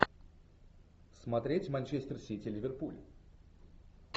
смотреть манчестер сити ливерпуль